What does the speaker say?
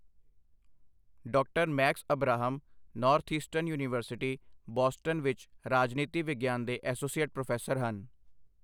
ਡਾ. Max Abrahms, Northeastern university, Boston ਵਿੱਚ ਰਾਜਨੀਤੀ ਵਿਗਿਆਨ ਦੇ ਐਸੋਸੀਏਟ ਪ੍ਰੋਫੈਸਰ ਹਨ।